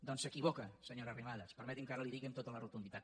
doncs s’equivoca senyora arrimadas permeti’m que ara li ho digui amb tota la rotunditat